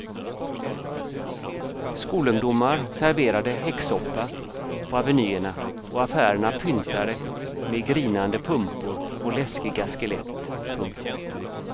Skolungdomar serverade häxsoppa på avenyerna och affärerna pyntade med grinande pumpor och läskiga skelett. punkt